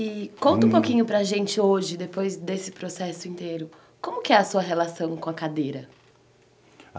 E conta um pouquinho para gente hoje, depois desse processo inteiro, como que é a sua relação com a cadeira?